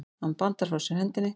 Hann bandar frá sér hendinni.